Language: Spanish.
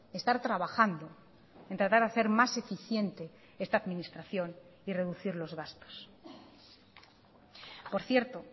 estar trabajando en tratar de hacer más eficiente esta administración y reducir los gastos por cierto